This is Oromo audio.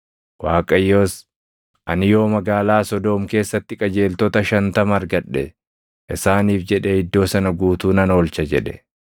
Waaqayyos, “Ani yoo magaalaa Sodoom keessatti qajeeltota shantama argadhe, isaaniif jedhee iddoo sana guutuu nan oolcha” jedhe.